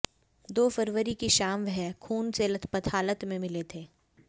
दो फरवरी की शाम वह खून से लथपथ हालत में मिले थे